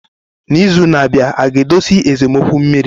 N'izu na-abịa aga-edozi esemokwu mmiri?